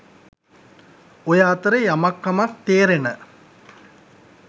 ඔය අතරෙ යමක් කමක් තේරෙන